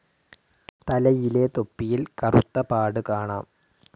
തലയിലെ തൊപ്പിയിൽ കറുത്ത പാട് കാണാം.